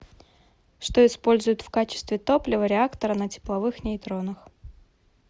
что используют в качестве топлива реактора на тепловых нейтронах